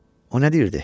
O nə deyirdi?